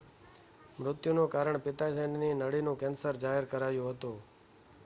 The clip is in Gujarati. મૃત્યુનું કારણ પિત્તાશયની નળીનું કેન્સર જાહેર કરાયું હતું